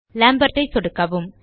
Lampard ஐ சொடுக்கவும்